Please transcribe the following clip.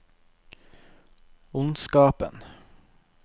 ondskapen